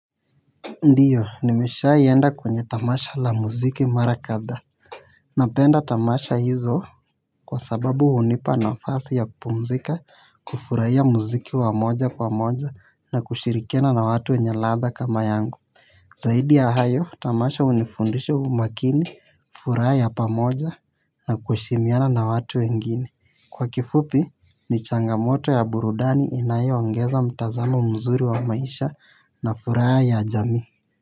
Ndiyo nimeshaienda kwenye tamasha la muziki mara kadhaa napenda tamasha hizo kwa sababu hunipa nafasi ya kupumzika kufuraiya muziki wa moja kwa moja na kushirikina na watu wenye latha kama yangu zaidi ya hayo tamasha unifundisha umakini furaa ya pamoja na kueshimiana na watu wengine kwa kifupi ni changamoto ya burudani inayoongeza mtazamo mzuri wa maisha na furaa ya jamii.